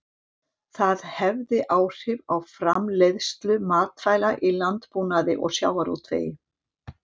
Það hefði áhrif á framleiðslu matvæla í landbúnaði og sjávarútvegi.